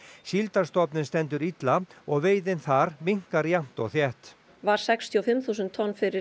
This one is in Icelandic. síldarstofninn stendur illa og veiðin þar minnkar jafnt og þétt var sextíu og fimm þúsund tonn fyrir